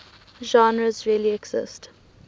genres really exist